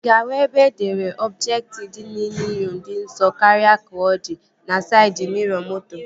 Ị ga-ahụ ebe edere "ọbjektị dị n'inyo dị nso karịa ka ọ di" na saịd miro moto